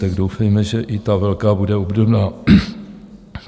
Tak doufejme, že i ta velká bude obdobná.